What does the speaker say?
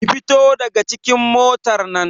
Ki fito daga cikin motar nan!